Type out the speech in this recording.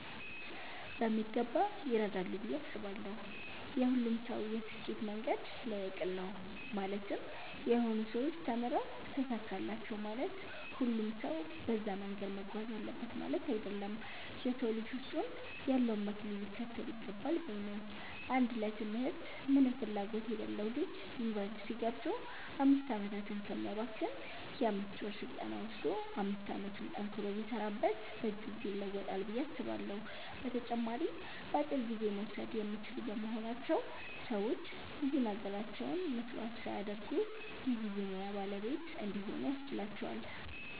በሚገባ ይረዳሉ ብዬ አስባለው። የሁሉም ሰው የስኬት መንገድ ለየቅል ነው ማለትም የሆኑ ሰዎች ተምረው ተሳካላቸው ማለት ሁሉም ሰው በዛ መንገድ መጓዝ አለበት ማለት አይደለም። የ ሰው ልጅ ውስጡ ያለውን መክሊት ሊከተል ይገባል ባይ ነኝ። አንድ ለ ትምህርት ምንም ፍላጎት የሌለው ልጅ ዩኒቨርስቲ ገብቶ 5 አመታትን ከሚያባክን የ 5ወር ስልጠና ወሰዶ 5 አመቱን ጠንክሮ ቢሰራበት በእጅጉ ይለወጣል ብዬ አስባለሁ። በተጨማሪም በአጭር ጊዜ መወሰድ የሚችሉ በመሆናቸው ሰዎች ብዙ ነገራቸውን መስዋዕት ሳያደርጉ የ ብዙ ሙያ ባለቤት እንዲሆኑ ያስችላቸዋል።